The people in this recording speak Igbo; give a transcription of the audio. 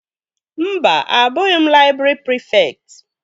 Mba, abụghị m laịbrị prịfekt